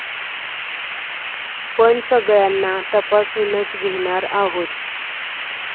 पण सगळ्यांना तपासूनच घेणार आहोत.